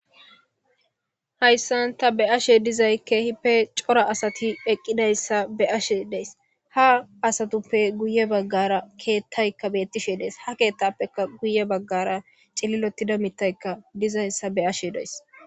Haysan tani beyashe dizaysi kehippe cora asati eqidaysa beyashe daysi ha asatuppe guye bagara kethay betishe des ha ketappeka guye bagara cililotida mithay beyashe daysi.